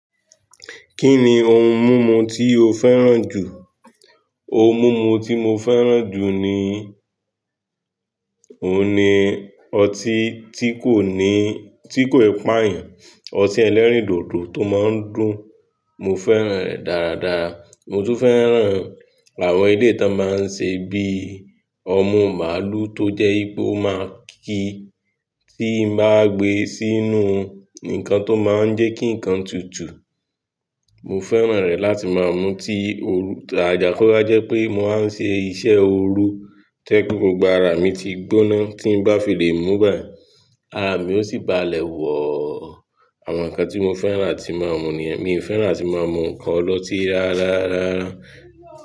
Kí ni ohun mímu tí o fẹ́ràn jù? Òun mumu tí mo fẹ́ràn jù ni, òun ni ọtí tí kò ní, tí kò i páàyàn, ọtí ẹlẹ́rìndòdò tó máa ń dùn, mo fẹ́ràn rẹ̀ dáradára. Mo tún fẹ́ràn àwọn èlèyi tọ́n máa ń ṣe bíi ọmú màlúù tó jẹ́ wípé ó máa kí tí n bá gbé e sínú nǹkan tó máa ń jẹ́ kí nǹkan tutù, mo fẹ́ràn rẹ̀ láti máa mú tí òru, àajà ko wa jẹ́ pé mo wáa ń ṣe iṣẹ́ òru to ẹ pe gbogbo ara mi ti gbóná tí n bá filé mú báyi, àami ó sì bá lẹ̀ wọ̀. Àwọn nǹkan tí mo fẹ́ràn áti máa mú ni yẹn, mi ò fẹ́ràn láti máa mú nkan ọlọ́tí rárá, rárá.